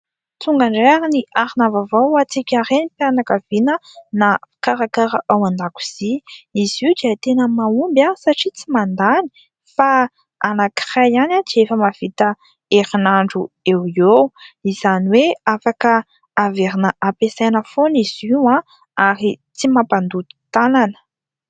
Tonga indray ary ny arina vaovao ho antsika Renim-pianakaviana na hikarakara ao an-dakozia. Izy io dia tena mahomby satria tsy mandany fa anankiray ihany dia efa mahavita herinandro eo eo, izany hoe : afaka averina ampiasaina foana izy io ary tsy mampandoto tanana.